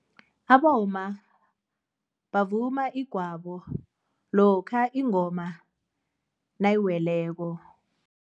Abomma bavuma igwabo lokha ingoma nayiweleko.